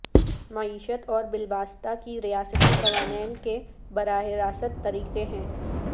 معیشت اور بالواسطہ کی ریاستی قوانین کے براہ راست طریقے ہیں